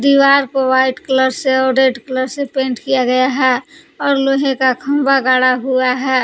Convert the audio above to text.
दीवार को white colour से और रेड कलर से पेंट किया गया है और लोहे का खंभा गाड़ा हुआ है।